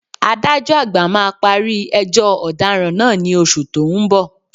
Adájọ́ àgbà máa parí ẹjọ́ ọ̀daràn náà ní oṣù tó ń bọ̀